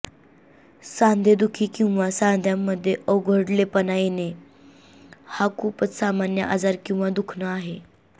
सांधेदुखी किंवा सांध्यांमध्ये अवघडलेपण येणं हा खूपच सामान्य आजार किंवा दुखणं आहे